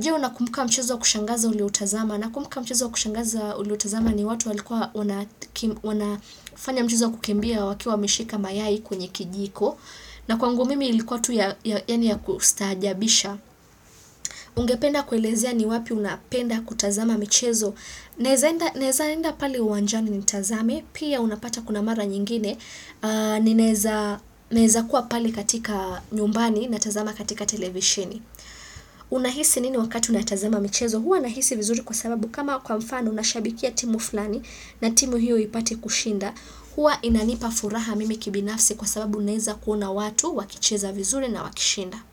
Je unakumbuka mchezo wa kushangaza ulioutazama. Nakumbuka mchezo wa kushangaza ulioutazama ni watu wanafanya mchezo wa kukimbia wakiwa wameshika mayai kwenye kijiko. Na kwangu mimi ilikuwa tu ya kustaajabisha. Ungependa kuelezea ni wapi unapenda kutazama michezo. Naeza enda pale uwanjani nitazame. Pia unapata kuna mara nyingine. Ninaeza kuwa pale katika nyumbani natazama katika televisheni. Unahisi nini wakati unatazama michezo huwa nahisi vizuri kwa sababu kama kwa mfano unashabikia timu fulani na timu hiyo ipate kushinda huwa inanipa furaha mimi kibinafsi kwa sababu unaeza kuona watu wakicheza vizuri na wakishinda.